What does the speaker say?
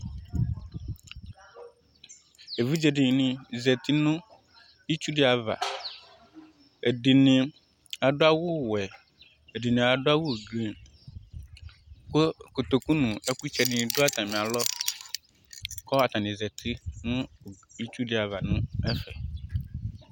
Evidze dini zeti nu itsu di aʋa, ɛdini adu awu wɛ, ɛdini adu awu blɔ, ku kotoku nu ɛku tsɛ di ni du atami alɔ, kɔɔ ata ni zeti nu itsu di aʋa nu ɛfɛ